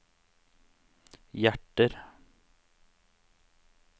hjerter